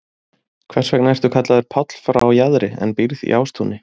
Hvers vegna ertu kallaður Páll frá Jaðri en býrð í Ástúni?